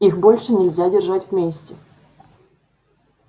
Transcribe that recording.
их больше нельзя держать вместе